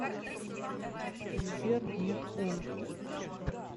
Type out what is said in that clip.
сбер нет он